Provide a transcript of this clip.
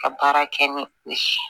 Ka baara kɛ ni o ye